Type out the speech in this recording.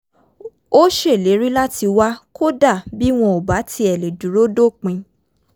ó ṣèlérí láti wá kódà bí wọn ò bá tiẹ̀ lè dúró dópin